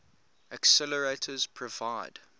accelerators provide